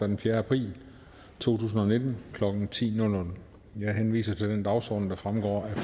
den fjerde april to tusind og nitten klokken ti jeg henviser til den dagsorden der fremgår